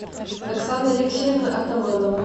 оксана алексеевна атаманова